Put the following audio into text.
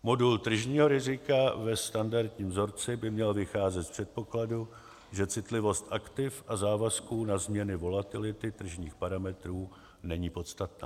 Modul tržního rizika ve standardním vzorci by měl vycházet z předpokladu, že citlivost aktiv a závazků na změny volatility tržních parametrů není podstatná.